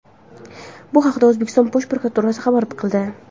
Bu haqda O‘zbekiston Bosh prokuraturasi xabar qildi .